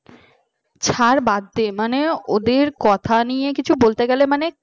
হ্যাঁ ছাড় বাদ দে মানে ওদের কথা নিয়ে কিছু বলতে গেলে মানে